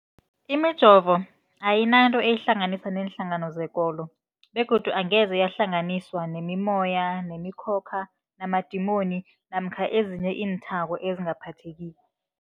Imijovo ayinanto eyihlanganisa neenhlangano zekolo begodu angeze yahlanganiswa nemimoya, nemi khokha, namadimoni namkha ezinye iinthako ezingaphathekiko.